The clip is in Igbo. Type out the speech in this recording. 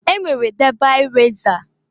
E nwere debi resa.